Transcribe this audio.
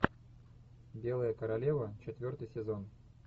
белая королева четвертый сезон